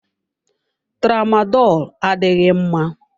Tramadolu adịghị mma.